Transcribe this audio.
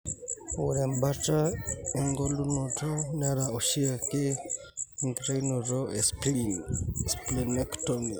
Ore embaata engelunoto nera oshiake enkitainoto espleen (splenectomy).